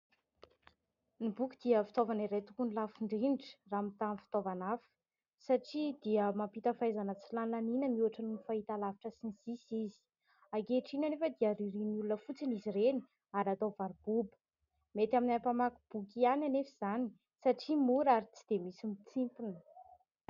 Ny boky dia fitaovana iray tokony ho lafo indrindra raha mitaha amin'ny fitaovana hafa satria dia mampita fahaizana tsy lany laniana mihoatra noho ny fahita lavitra sy ny sisa izy. Ankehitriny anefa dia aririan'ny olona fotsiny izy ireny ary atao varoboba, mety aminay mpamaky boky ihany anefa izany satria mora ary tsy dia misy mitsimpona.